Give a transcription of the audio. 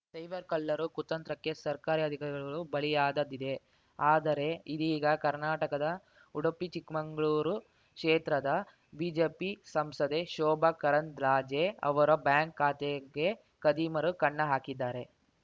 cyber ಕಳ್ಳರ ಕುತಂತ್ರಕ್ಕೆ ಸರ್ಕಾರಿ ಅಧಿಕಾರಿಗಳೂ ಬಲಿಯಾದದ್ದಿದೆ ಆದರೆ ಇದೀಗ ಕರ್ನಾಟಕದ ಉಡುಪಿಚಿಕ್ಕಮಂಗ್ಳೂರು ಕ್ಷೇತ್ರದ ಬಿಜೆಪಿ ಸಂಸದೆ ಶೋಭಾ ಕರಂದ್ಲಾಜೆ ಅವರ ಬ್ಯಾಂಕ್‌ ಖಾತೆಗೇ ಖದೀಮರು ಕನ್ನ ಹಾಕಿದ್ದಾರೆ